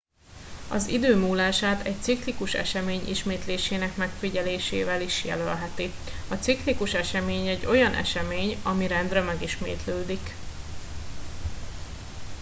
az idő múlását egy ciklikus esemény ismétlésének megfigyelésével is jelölheti a ciklikus esemény egy olyan esemény ami rendre megismétlődik